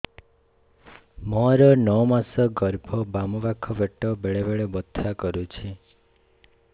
ମୋର ନଅ ମାସ ଗର୍ଭ ବାମ ପାଖ ପେଟ ବେଳେ ବେଳେ ବଥା କରୁଛି